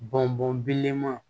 Bɔn bɔn bilenman